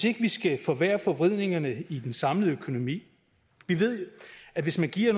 ikke skal forværre forvridningerne i den samlede økonomi vi ved at hvis man giver